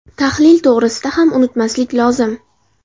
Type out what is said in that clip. Tahlil to‘g‘risida ham unutmaslik lozim.